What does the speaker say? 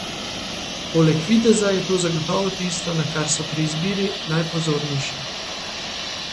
Poleg videza je to zagotovo tisto, na kar so pri izbiri najpozornejši.